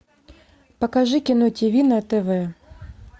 покажи кино тв на тв